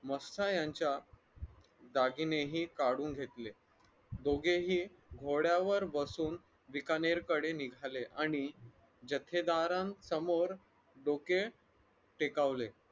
मस्था यांच्या दागिनेही काढून घेतले दोघेही घोड्यावर बसून बिकानेरकडे निघाले आणि ठेकेदारांसमोर डोके टेकावले.